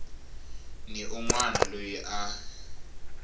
ni un wana loyi a